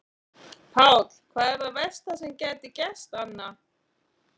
Páll: Hvað er það versta sem gæti gerst Anna?